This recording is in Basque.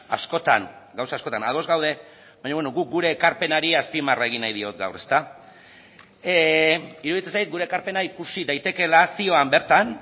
askotan gauza askotan ados gaude baina guk gure ekarpenari azpimarra egin nahi diot gaur iruditzen zait gure ekarpena ikusi daitekeela zioan bertan